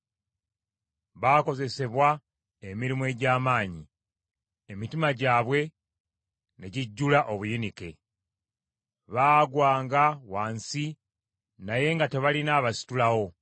Baakozesebwa emirimu egy’amaanyi, emitima gyabwe ne gijjula obuyinike; baagwanga wansi, naye nga tebalina abasitulawo.